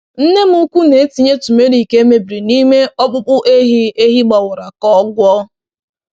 Nne m ukwu na-etinye turmeric e mebiri n’ime ọkpụkpụ ehi ehi gbawara ka o gwọọ.